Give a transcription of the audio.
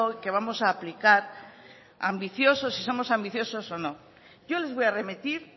que vamos a aplicar ambicioso si somos ambiciosos o no yo les voy a remitir